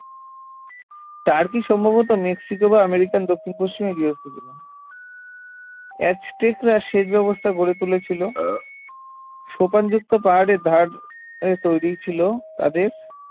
turkey সম্ভবত Mexico বা American দক্ষিণ পশ্চিমে গার্হস্থ্যকৃত ছিল অ্যাজটেকরা সেচ ব্যবস্থা গড়ে তুলেছিল সোপানযুক্ত পাহাড়ের ধার এ তৈরি ছিল তাদের